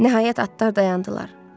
Nəhayət atlar dayandılar.